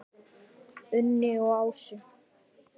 Unni og Ásu.